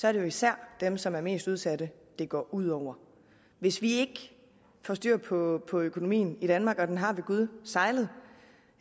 er det jo især dem som er mest udsat det går ud over hvis vi ikke får styr på på økonomien i danmark og den har ved gud sejlet